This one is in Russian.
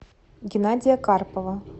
геннадия карпова